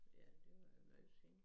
Ja det var jo noget siden